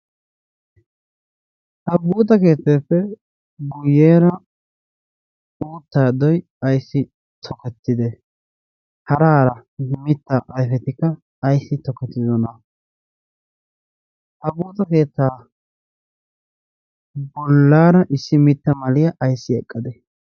ha buuxa keetteeppe guyyeera uutta doi ayssi tokettide haraara mitta ayfetikka ayssi tokkettidona ha buuxa keettaa bollaara issi mitta maliyaa ayssi eqqade?